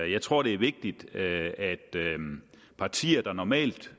jeg tror det er vigtigt at partier der normalt